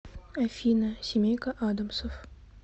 афина семейка адамсов